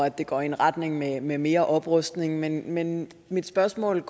at det går i en retning med med mere oprustning men men mit spørgsmål